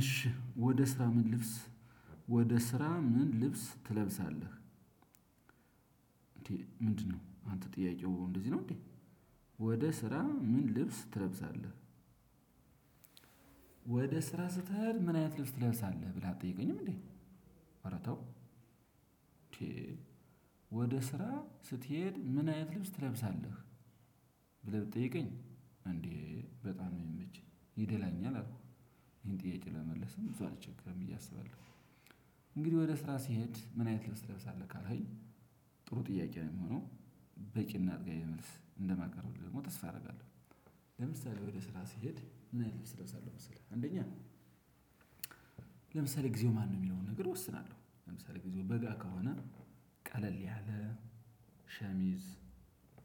እሺ ወደ ስራ ምን ልብስ ወደ ስራ ምን ልብስ ትለብሳለህ? እንዴ ምንድነው አንተ ጥያቄው እንደዚህ ነው እንዴ? ወደ ስራ ምን ልብስ ትለብሳለህ? ወደ ስራ ስትሄድ ምን አይነት ልብስ ትለብሳለህ ብለህ አትጠይቀኝም እንዴ? እረ ተው። ወደ ስራ ስትሄድ ምን አይነት ልብስ ትለብሳለህ? ብለህ ብትጠይቀኝ እንዴ በጣም የሚመች ይደላኛል አልኩኝ ይሄን ጥያቄ ለመመለሰም ብዙ አልቸገርም ብዬ አስባለሁ። እንግዲህ ወደ ስራ ስሄድ ምን አይነት ልብስ ትለብሳለህ ካልከኝ። ጥሩ ጥያቄ ነው የሚሆነው። በቂ እና አጥጋቢ መልስ እንደማቀረብልህ ደግሞ ተስፋ አደርጋለሁ። ለምሳሌ ወደ ስራ ስሄድ ምን አይነት ልብስ እለብሳለው መሰለህ አንደኛ። ለምሳሌ ጊዜው ማን የሚለውን ነገር እወስናለሁ ለምሳሌ ጊዜው በጋ ከሆነ። ቀለል ያለ ሸሚዝ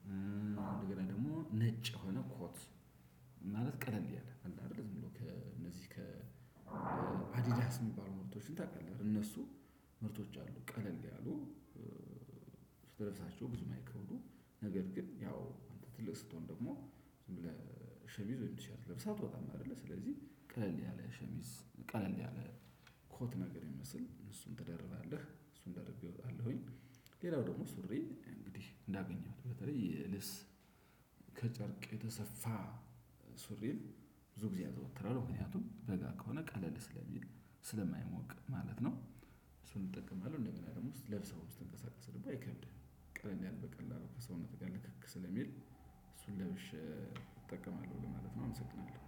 እንደገና ደግሞ ነጭ የሆነ ኮት። ማለት ቀለል እንዲህ አለ አይደለ ዝም ብሎ ከእነዚህ ከ ከአዲዳስ የሚባሉ ምርቶችን ታውቃለህ? እነሱ ምርቶች አሉ ቀለል ያሉ። ስትለብሳቸው ብዙ ማይክብዱ ነገር ግን ያው አንተ ትልቅ ስትሆን ደግሞ ለሸሚዝ ወይም ቲሸርት ለብሰህ አትወጣም። አይደለ ስለዚህ ቀለል ያለ ሸሚዝ ቀለል ያለ ኮት ነገር የሚመስል እሱን ትደረባለህ እሱን ደርቤ እወጣለሁኝ። ሌላው ደግሞ ሱሪ እንግዲህ እንዳገኘው በተለይ ልብስ ከጨርቅ የተሰፋ ሱሪን ብዙ ጊዜ አዝወትራለው ምክንያቱም በጋ ከሆነ ቀለል ስለሚል ስለማይሞቅ ማለት ነው። እሱን እጠቀማለሁ እንደገና ደግሞ ስትለብሰው ስትንቀሳቀስ ደግሞ አይከብድም። ቀለል በቀላሉ ከሰውነት ጋር ልክክ ስለሚል እሱን ለብሼ እጠቀማለሁ ማለት ነው። አመሰግናለሁ።